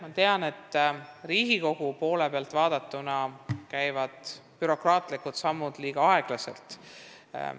Ma tean, et Riigikogu poole pealt vaadatuna käivad bürokraatlikud sammud liiga aeglaselt.